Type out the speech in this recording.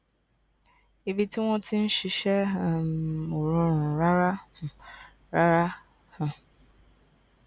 ibi tí wón ti ń ṣiṣé um ò rọrùn rárá um rárá um